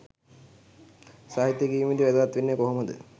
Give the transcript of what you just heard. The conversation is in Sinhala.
සාහිත්‍ය කියවීමේදී වැදගත් වෙන්නේ කොහොමද?